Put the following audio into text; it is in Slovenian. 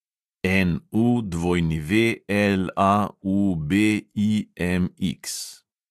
NUWLAUBIMX